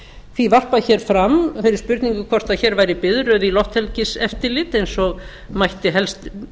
því varpað fram þeirri spurningu hvort hér væri biðröð í lofthelgiseftirlit eins og mætti helst